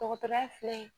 Dɔgɔtɔrɔya filɛ nin ye